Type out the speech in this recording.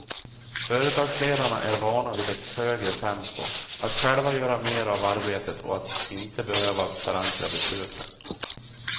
Företagsledarna är vana vid ett högre tempo, att själva göra mer av arbetet och att inte behöva förankra besluten.